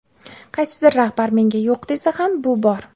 Qaysidir rahbar menga yo‘q desa ham, bu bor.